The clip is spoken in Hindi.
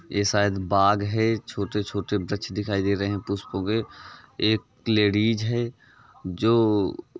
यह शायद बाग है। छोटे-छोटे वृक्ष दिखाई दे रहे हैं पुष्पों के। एक लेडीज है जो --